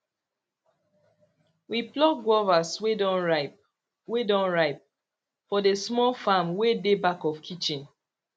we pluck guavas wey don ripe wey don ripe for the small farm wey dey back of kitchen